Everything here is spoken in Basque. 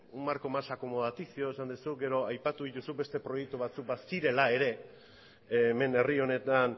un marco más acomodaticio esan duzu gero aipatu dituzu beste proiektu batzuk bazirela ere hemen herri honetan